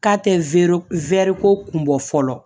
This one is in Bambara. K'a tɛ ko kun bɔ fɔlɔ